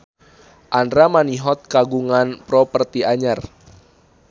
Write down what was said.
Andra Manihot kagungan properti anyar